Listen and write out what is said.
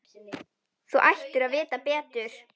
Þú ættir að vita betur!